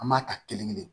An b'a ta kelen kelen